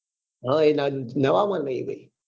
હા એ નવા માં નહિ ભાઈ